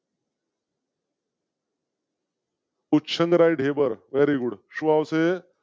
ઉચ્છંગ રાય, Dhebar very good શું આવશે?